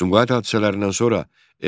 Sumqayıt hadisələrindən sonra